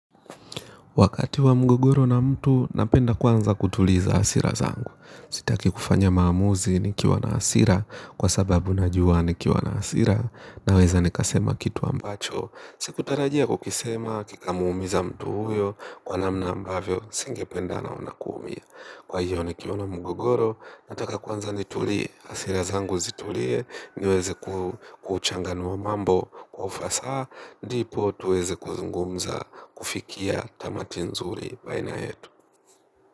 Wakati wa mgogoro na mtu, napenda kwanza kutuliza hasira zangu. Sitaki kufanya maamuzi nikiwa na hasira kwa sababu najua nikiwa na hasira naweza nikasema kitu ambacho sikutarajia kukisema, kikamuumiza mtu huyo, kwa namna ambavyo, singependa naona kuumia. Kwa hiyo nikiona mgogoro, nataka kwanza nitulie, hasira zangu zitulie, niweze kuchanganua mambo, kwa ufasaha ndipo tuweze kuzungumza kufikia tamati nzuri baina yetu.